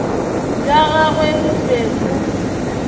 bja gagwe bo be bo